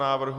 návrhu?